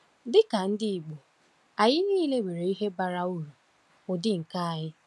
Dị ka ndị Igbo, anyị niile nwere ihe bara uru ụdị nke anyị.